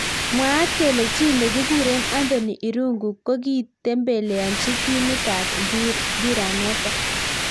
Mwaat kele chi nekikuree Anthony Irungu kokitembeleanji timit ab mbiranatak.